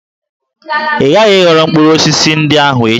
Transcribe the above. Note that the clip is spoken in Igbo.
Ị ghaghị ịghọrọ mkpụrụ osisi ndị ahụ echi!